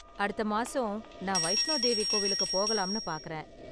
அடுத்த மாசம், நான் வைஷ்ணோ தேவி கோவிலுக்கு போகலாம்னு பாக்கறேன்.